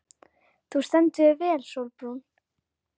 Þú stendur þig vel, Sólbrún!